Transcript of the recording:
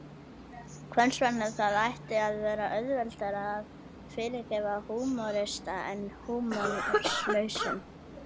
Hvers vegna það ætti að vera auðveldara að fyrirgefa húmorista en húmorslausum?